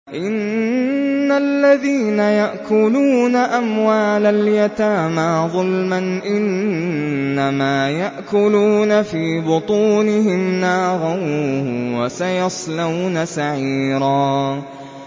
إِنَّ الَّذِينَ يَأْكُلُونَ أَمْوَالَ الْيَتَامَىٰ ظُلْمًا إِنَّمَا يَأْكُلُونَ فِي بُطُونِهِمْ نَارًا ۖ وَسَيَصْلَوْنَ سَعِيرًا